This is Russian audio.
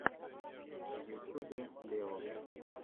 в ютюбе лео